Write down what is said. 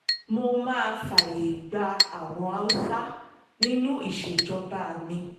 mo máa fààyè gba àwọn haúsá nínú ìṣèjọba mi